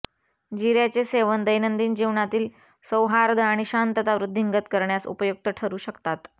जीऱ्याचे सेवन दैनंदिन जीवनातील सौहार्द आणि शांतता वृद्धिंगत करण्यास उपयुक्त ठरू शकतात